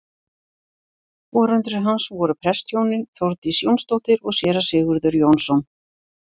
Foreldrar hans voru prestshjónin Þórdís Jónsdóttir og séra Sigurður Jónsson.